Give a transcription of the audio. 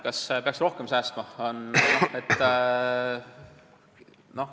Kas peaks rohkem säästma?